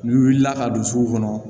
N'i wulila ka don sugu kɔnɔ